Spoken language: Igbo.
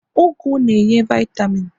ugu na-enye vaitamin